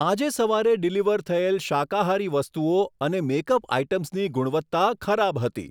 આજે સવારે ડિલિવર થયેલ શાકાહારી વસ્તુઓ અને મેક અપ આઇટમ્સની ગુણવત્તા ખરાબ હતી.